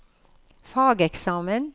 fageksamen